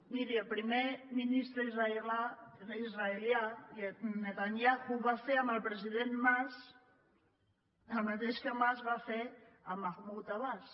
miri el primer ministre israelià netanyahu va fer amb el president mas el mateix que mas va fer amb mahmud abbas